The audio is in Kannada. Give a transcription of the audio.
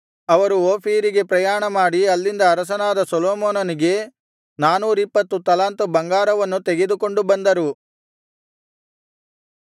ಅವರು ಓಫೀರಿಗೆ ಪ್ರಯಾಣಮಾಡಿ ಅಲ್ಲಿಂದ ಅರಸನಾದ ಸೊಲೊಮೋನನಿಗೆ ನಾನೂರಿಪ್ಪತ್ತು ತಲಾಂತು ಬಂಗಾರವನ್ನು ತೆಗೆದುಕೊಂಡು ಬಂದರು